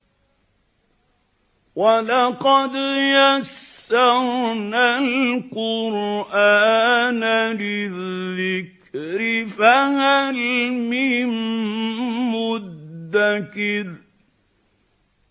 وَلَقَدْ يَسَّرْنَا الْقُرْآنَ لِلذِّكْرِ فَهَلْ مِن مُّدَّكِرٍ